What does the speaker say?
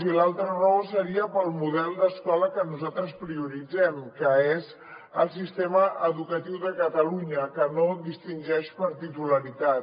i l’altra raó seria pel model d’escola que nosaltres prioritzem que és el sistema educatiu de catalunya que no distingeix per titularitat